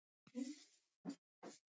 Doddi, hvað er lengi opið í Listasafninu?